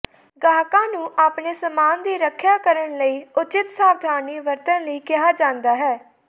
ਗਾਹਕਾਂ ਨੂੰ ਆਪਣੇ ਸਾਮਾਨ ਦੀ ਰੱਖਿਆ ਕਰਨ ਲਈ ਉਚਿਤ ਸਾਵਧਾਨੀ ਵਰਤਣ ਲਈ ਕਿਹਾ ਜਾਂਦਾ ਹੈ